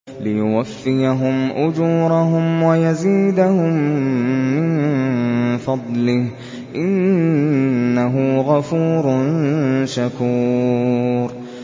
لِيُوَفِّيَهُمْ أُجُورَهُمْ وَيَزِيدَهُم مِّن فَضْلِهِ ۚ إِنَّهُ غَفُورٌ شَكُورٌ